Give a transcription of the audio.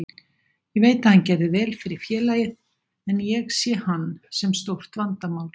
Ég veit að hann gerði vel fyrir félagið, en ég sé hann sem stórt vandamál.